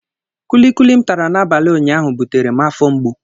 Kuli kuli m tara n'abalị ụnyaahụ butere m afọ mgbu.